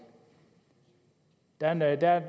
der er nogle der